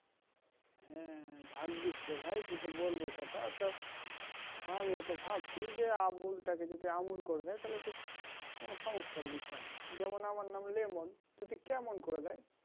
হ্যাঁ ভাজ্ঞীসরে ভাই তুই তো বোলে একথা তা আমিও তো ভাবছি যে আবুল টাকে যদি আমূল করে দেয় তাহলে তো মানে সমস্যার বিষয় যেমন আমার নাম লেমন যদি কেমন করে দেয়